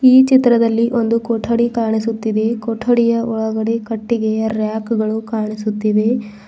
ಈ ಚಿತ್ರದಲ್ಲಿ ಒಂದು ಕೊಠಡಿ ಕಾಣಿಸುತ್ತಿದೆ ಕೊಠಡಿಯ ಒಳಗಡೆ ಕಟ್ಟಿಗೆಯ ರ್ಯಕುಗಳು ಕಾಣಿಸುತ್ತಿವೆ.